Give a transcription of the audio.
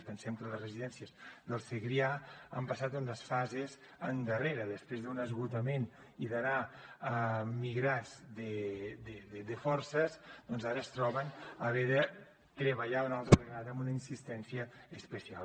pensem que les residències del segrià han passat unes fases endarrere després d’un esgotament i d’anar migrats de forces doncs ara es troben haver de treballar una altra vegada amb una insistència especial